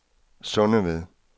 Sundeved